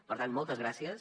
per tant moltes gràcies